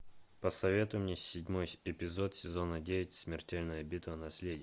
посоветуй мне седьмой эпизод сезона девять смертельная битва наследие